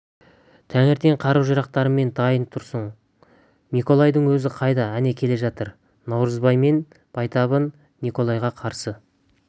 таңертең қару-жарақтарымен дайын тұрсын миколайдың өзі қайда әне келе жатыр наурызбай мен байтабын николайға қарсы